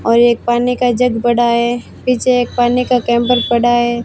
और एक पानी का जग पड़ा है पीछे एक पानी का कैंपर पड़ा है।